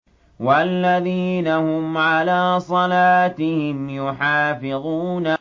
وَالَّذِينَ هُمْ عَلَىٰ صَلَاتِهِمْ يُحَافِظُونَ